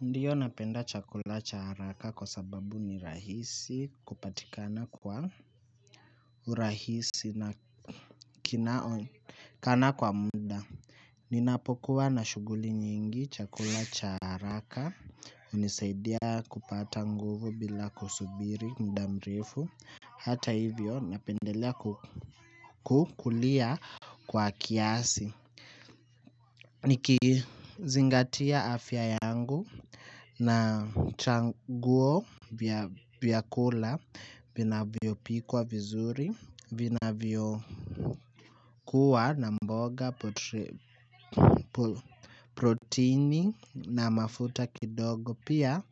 Ndiyo napenda chakula cha haraka kwa sababu ni rahisi kupatikana kwa urahisi na kinaonekana kwa muda. Ninapokuwa na shughuli nyingi, chakula cha haraka hunisaidia kupata nguvu bila kusubiri muda mrefu. Hata hivyo napendelea kukulia kwa kiasi. Nikizingatia afya yangu na chaguo vya kula vina vyopikwa vizuri vinavyokuwa na mboga protini na mafuta kidogo pia.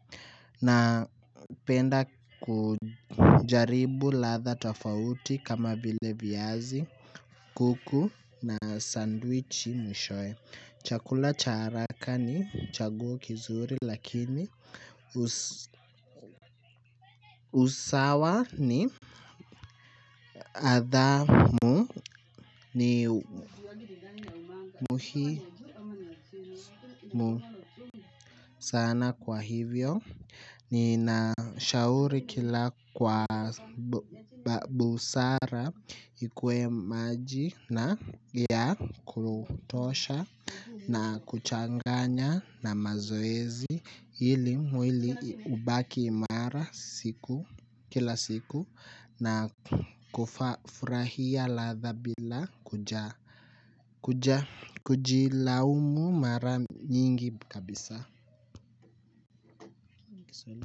Napenda kujaribu ladha tofauti kama vile viazi, kuku na sandwichi mwishowe. Chakula cha haraka ni chaguo kizuri lakini usawa ni adhamu. Ni muhimu sana kwa hivyo ninashauri kila kwa busara ikuwe maji na yakutosha na kuchanganya na mazoezi ili mwili ubaki mara siku kila siku na kufa furahia ladha bila kujilaumu mara nyingi kabisa.